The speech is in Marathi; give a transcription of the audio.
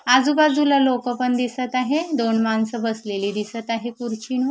आजूबाजूला लोकं पण दिसत आहे दोन माणसं बसलेली दिसत आहे कुर्चीनू--